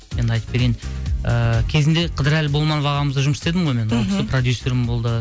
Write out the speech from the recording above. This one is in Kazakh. енді айтып берейін ыыы кезінде қыдырәлі болманов ағамызда жұмыс істедім ғой мен мхм ол кісі продюссерім болды